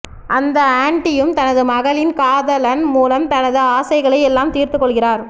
அந்த ஆன்ட்டியும் தனது மகளின் காதலன் மூலம் தனது ஆசைகளை எல்லாம் தீர்த்துக் கொள்கிறார்